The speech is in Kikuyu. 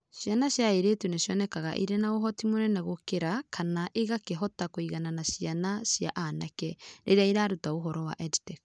Ciana cia airĩtu nĩ cionekaga irĩ na ũhoti mũnene gũkĩra kana igakĩhota kũigana na cia anake rĩrĩa iruta ũhoro wa EdTech.